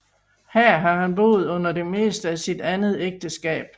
Her har han boet under det meste af sit andet ægteskab